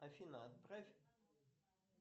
афина отправь